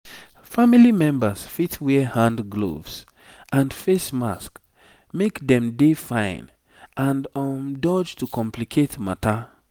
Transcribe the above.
family members fit wear hand gloves and face mask make dem dey fine and um dodge to complicate matter